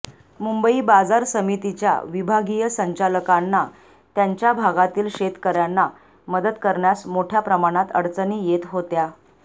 मुंबई बाजार समितीच्या विभागीय संचालकांना त्यांच्या भागातील शेतकऱ्यांना मदत करण्यास मोठ्या प्रमाणात अडचणी येत होत्या